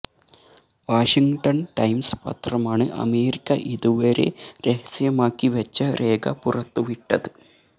washing ton Times പത്രമാണ് America ഇതുവരെ രഹസ്യമാക്കി വെച്ച രേഖ പുറത്തുവിട്ടത്